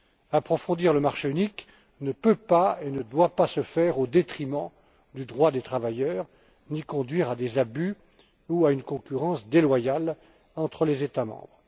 Approfondir le marché unique ne peut pas et ne doit pas se faire au détriment du droit des travailleurs, ni conduire à des abus ou à une concurrence déloyale entre les États membres.